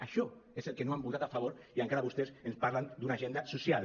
això és al que no han votat a favor i encara vostès ens parlen d’una agenda social